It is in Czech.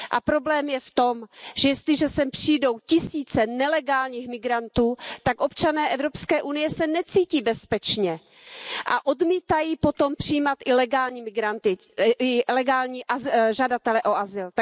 Problém je v tom, že jestliže sem přijdou tisíce nelegálních migrantů, tak občané Evropské unie se necítí bezpečně a odmítají potom přijímat i legální žadatele o azyl.